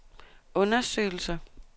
undersøgelser